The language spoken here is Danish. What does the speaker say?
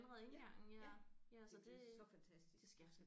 Ja ja det er blevet så fantastisk